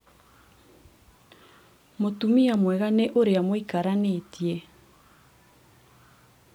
mũtumia mwega nĩ ũrĩa mũikaranĩtie